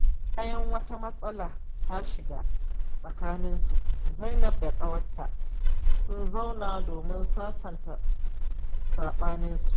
Bayan wata matsala ta shiga tsakaninsu, Zainab da ƙawarta sun zauna domin sasanta saɓaninsu.